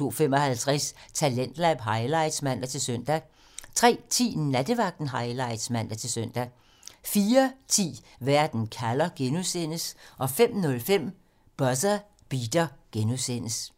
02:55: Talentlab highlights (man-søn) 03:10: Nattevagten Highlights (man-søn) 04:10: Verden kalder (G) 05:05: Buzzer Beater (G)